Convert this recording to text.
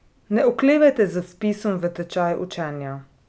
Ne oklevajte z vpisom v tečaj učenja.